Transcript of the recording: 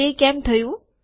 તે કેમ થયું